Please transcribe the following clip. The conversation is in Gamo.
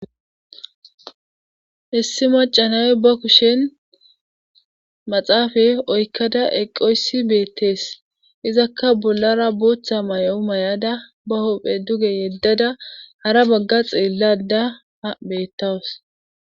Issi macca nayiya ba kushen maxaafa oykkada eqqoyssi beetes. izakka bollara booththa mayo myada, ba huuphe duge yedada hara baga xeelayda beetawus.